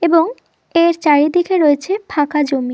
এবং এর চারিদিকে রয়েছে ফাঁকা জমি--